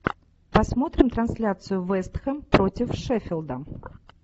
посмотрим трансляцию вест хэм против шеффилда